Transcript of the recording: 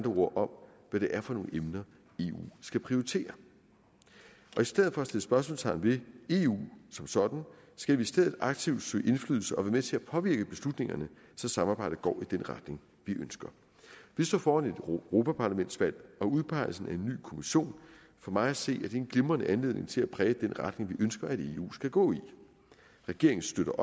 ord om hvad det er for nogle emner eu skal prioritere i stedet for at sætte spørgsmålstegn ved eu som sådan skal vi i stedet aktivt søge indflydelse og være med til at påvirke beslutningerne så samarbejdet går i den retning vi ønsker vi står foran et europaparlamentsvalg og udpegelsen af en ny kommission for mig at se er det en glimrende anledning til at præge den retning vi ønsker at eu skal gå i regeringen støtter